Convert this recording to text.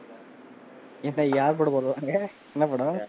யார் படம் போடுவாங்க? என்ன படம்?